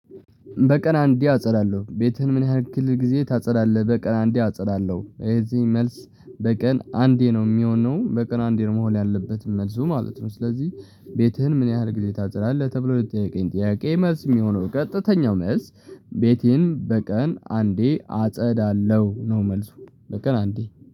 በቀን አንዴ አጸዳለሁ ቤትህን ምን ያክህል ጊዜ ታጸዳለህ? በቀን አንዴ አጸዳለሁ የዚህ መልስ በቀን አንዴ ነው እሚሆነው በቀን አንዴ ነው መሆን ያለበትም መልሱ ማለት ነው። ስለዚህ ቤትህን ምን ያህል ጊዜ ታጸዳለህ ተብሎ ለተጠየቀኝ ጥያቄ መልስ የሚሆነው ቀጥተኛው መልስ። ቤቴን በቀን አንዴ አጸዳለሁ ነው መልሱ። በቀን አንዴ